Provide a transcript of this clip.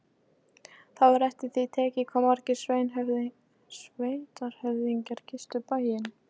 Það var eftir því tekið hvað margir sveitarhöfðingjar gistu bæinn.